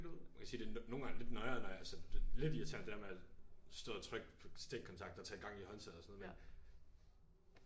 Man kan sige det er nogle gange lidt noieren når jeg sådan det er lidt irriterende det er med at stå og trykke på stikkontakter og tage en gang i håndtaget og sådan noget men